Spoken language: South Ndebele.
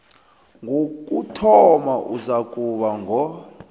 wokuthoma uzakuba ngo